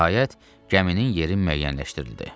Nəhayət, gəminin yeri müəyyənləşdirildi.